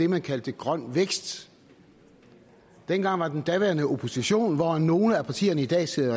man kaldte grøn vækst dengang var den daværende opposition hvoraf nogle af partierne i dag sidder